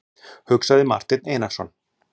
hugsaði Marteinn Einarsson.